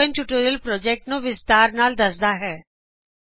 ਇਹ spoken tutorial project ਨੂੰ ਵਿਸਤਾਰ ਨਾਲ ਦਸਦਾ ਹੈ